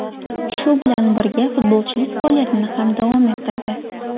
Shu bilan birga, futbolchilik faoliyatini ham davom ettirdi.